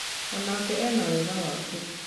Onake ena wega wake